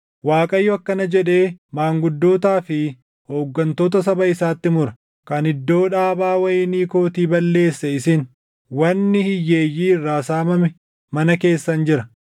Waaqayyo akkana jedhee maanguddootaa fi hooggantoota saba isaatti mura: “Kan iddoo dhaabaa wayinii kootii balleesse isin; wanni hiyyeeyyii irraa saamame mana keessan jira.